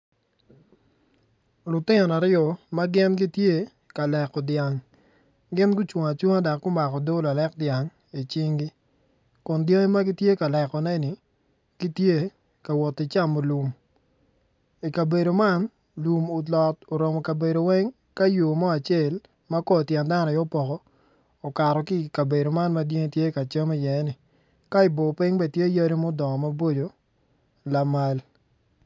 Lutino aryo ma gin gitye ka leko dyang gin gucung acunga dok gumako odoo lalek dyang icinggi kun jami ma gitye ka lekoneni gitye ka woti camo lum i kabedo man lum olot oromo kabedo weng ka yo mo yo mo acel ma kor tyen dano aye opoko okato ki ikabedo man ma dyangi tye ka cam iyeni ka ibor piny bene tye yadi ma odongo maboco lamal.